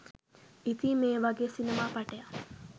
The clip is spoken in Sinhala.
ඉතින් මේ වගේ සිනමා පටයක්